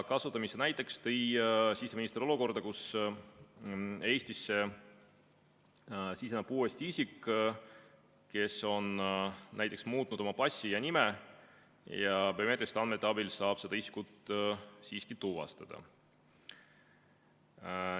Kasutamise näiteks tõi siseminister olukorra, kus Eestisse siseneb uuesti isik, kes on muutnud oma passi ja nime, aga biomeetriliste andmete abil saab seda isikut siiski tuvastada.